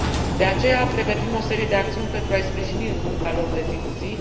De aceea, pregătim o serie de acțiuni pentru a i sprijini în munca lor de zi cu zi.